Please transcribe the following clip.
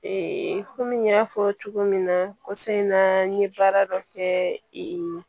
komi n y'a fɔ cogo min na kɔsɔ in na n ye baara dɔ kɛ ee